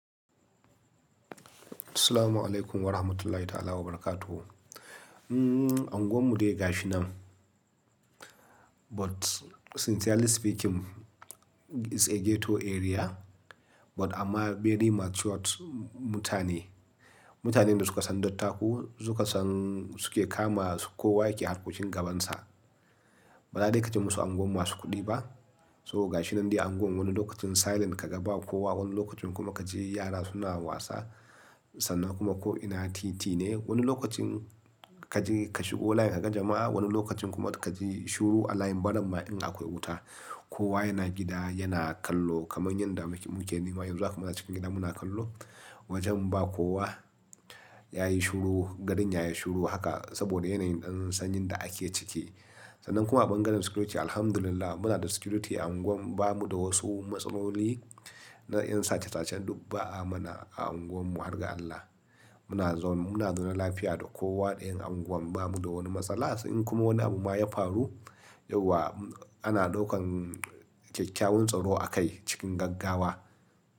Assalamu alaikum wa rahmatullahi ta'ala wa barakatuh. Mm, anguwar mu dai ga shi nan, but sincerely speaking it's a ghetto area, but amma very matured mutane. Mutanen da suka san dattaku, suka san suke kama kowa yake harkokin gabansa. Ba za dai ka ji musu unguwar masu kuɗi ba. To gashinan dai anguwan wani lokaci kaga silent kaga ba kowa wani lokaci kaji yara suna wasa sannan kuma ko ina titi ne wani lokacin kaje kashigo layin kaga jama'a wani lokacin kaji shiru alayin barin ma akwai wuta. Kowa yana gida yana kallo kamar yanda muke ni ma yanzu muna cikin gida muna kallo. Wajen ba kowa ya yi shuru, gari na ya yi shuru haka saboda yanayin ɗan sanyin da ake ciki. Sannan kuma sbangaren security, alhamdulillah muna da security a unguwar, ba mu da wasu matsaloli na yin sace-sacen duk ba a mana a unguwarmu, hargan Allah. Muna zaune lafiya da kowa da yen unguwan bamu da wani matsala. In kuma wani abu ma ya faru, yauwa ana ɗaukan ƙyaƙƙyawan tsaro akai cikin gaggawa.